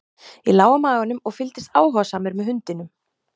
ég lá á maganum og fylgdist áhugasamur með hundinum